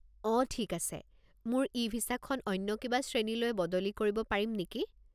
অঁ ঠিক আছে। মোৰ ই-ভিছাখন অন্য কিবা শ্ৰেণীলৈ বদলি কৰিব পাৰিম নেকি?